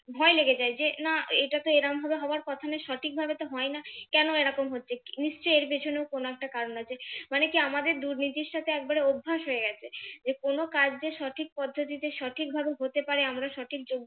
ভয় লেগে যায় যে না এটা তো এরম ভাবে হওয়ার কথা নয় সঠিক ভাবে তো হয় না কেন এরকম হচ্ছে নিশ্চয়ই এর পেছনেও কোন একটা কারণ আছে মানে কি আমাদের দুর্নীতির সাথে একবারে অভ্যাস হয়ে গেছে যে কোন কাজ যে সঠিক পদ্ধতিতে সঠিকভাবে হতে পারে আমরা সঠিক যোগ্য